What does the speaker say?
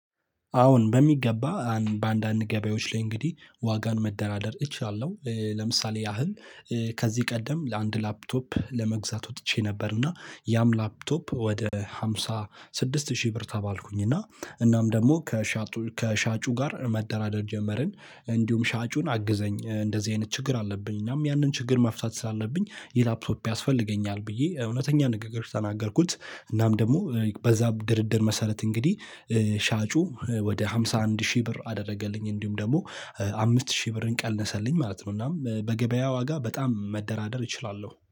አሁን በሚገባ በአንዳንድ ገበያዎች ላይ እንግዲህ ዋጋን መደራደር እችላለሁ ለምሳሌ ያህል። ከዚህ ቀደም ለአንድ ላፕቶፕ ለመግዛት ወጥቼ ነበር። እና ያም ላፕቶፕ ወደ ሃምሳ ስድስት ሺህ ብር ተባልኩኝ እና እናም ደግሞ ከሻጡ ከሻጩ ጋር መደራደር ጀመርን እንዲሁም ሻጩን አግዘኝ እንደዚህ አይነት ችግር አለብኝ እናም ያንን ችግር መፍታት ስላለብኝ የላፕቶፕ ያስፈልገኛል ብዬ እውነተኛ ንግግሮች ተናገርኩት። እናም ደግሞ በዛም ድርድር መሰረት እንግዲህ ሻጩ ወደ ሃምሳ አንድ ሺህ ብር አደረገልኝ። እንዲሁም ደግሞ አምስት ሺህ ብርን ቀነሰልኝ ማለት ነው። እናም በገበያ ዋጋ በጣም መደራደር እችላለሁ